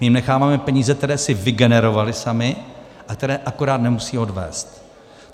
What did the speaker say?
My jim necháváme peníze, které si vygenerovaly samy a které akorát nemusí odvést.